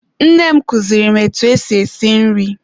Nne m kuziri m etụ esị esị nri.